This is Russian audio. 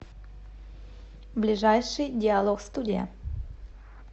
ближайший диалогстудия